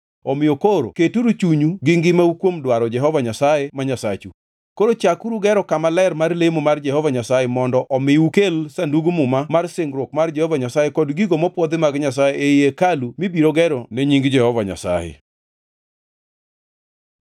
Omiyo koro keturu chunyu gi ngimau kuom dwaro Jehova Nyasaye ma Nyasachu. Koro chakuru gero kama ler mar lemo mar Jehova Nyasaye mondo omi ukel Sandug Muma mar Singruok mar Jehova Nyasaye kod gigo mopwodhi mag Nyasaye ei hekalu mibiro gero ne Nying Jehova Nyasaye.”